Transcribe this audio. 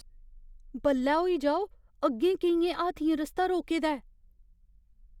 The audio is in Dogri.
बल्लै होई जाओ। अग्गें केइयें हाथियें रस्ता रोके दा ऐ।